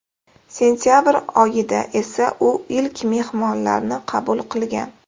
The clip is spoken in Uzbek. Sentabr oyida esa u ilk mehmonlarni qabul qilgan.